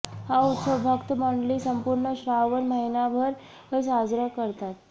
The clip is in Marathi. हा उत्सव भक्त मंडळी संपूर्ण श्रावण महिनाभर साजरा करतात